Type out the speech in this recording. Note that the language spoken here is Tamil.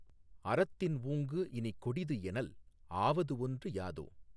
அறத்தின் ஊங்குஇனிக் கொடிதுஎனல் ஆவதுஒன்று யாதோ.